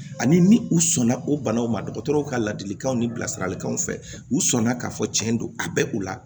Ani ni u sɔnna o banaw ma dɔgɔtɔrɔw ka ladilikanw ni bilasiralikanw fɛ u sɔnna k'a fɔ tiɲɛ don a bɛ u la